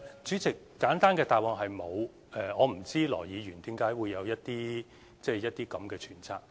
主席，簡單的答覆是沒有的，我不知道羅議員為何會有這樣的揣測。